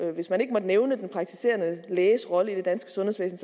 at hvis man ikke måtte nævne den praktiserende læges rolle i det danske sundhedsvæsen